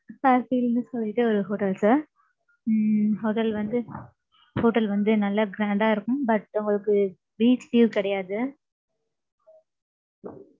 Sir ன்னு சொல்லிட்டு, ஒரு hotel sir. உம் அது வந்து Hotel வந்து, நல்லா grand ஆ இருக்கும். But, உங்களுக்கு, beach view கிடையாது.